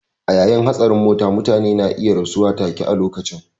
A yayin hatsarin mota mutane ne iya rasuwa take a lokacin